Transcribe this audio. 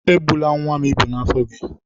Egbula nwa m ịbụ n'afọ gị!